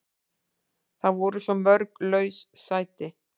Það voru svo mörg laus sæti.